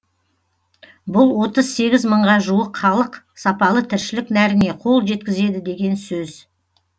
бұл отыз сегіз мыңға жуық халық сапалы тіршілік нәріне қол жеткізеді деген сөз